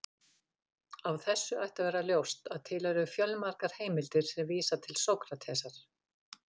Af þessu ætti að vera ljóst að til eru fjölmargar heimildir sem vísa til Sókratesar.